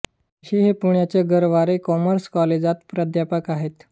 जोशी हे पुण्याच्या गरवारे काॅमर्स काॅलेजात प्राध्यापक आहेत